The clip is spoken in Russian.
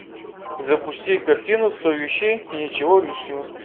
запусти картину сто вещей и ничего лишнего